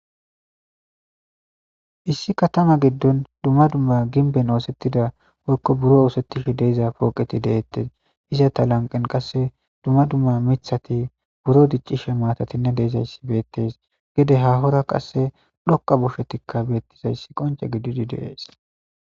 Issi katama giddon summa dumma gimbben ooththetida woykko buro oosetishe diza pooqeti de'etes. Izeta lanqqen qassekka miththati biro diccishe maatatinne de'izayssi beettes. Gede haahora dhoqqa qoncceti beettizayssi qoncce gididi de'es.